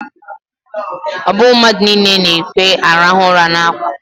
Ọ bụghị mmadụ niile na-ekwe arahụ ụra n'ákwá.